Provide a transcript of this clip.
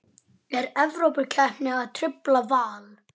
Er Evrópukeppnin að trufla Val?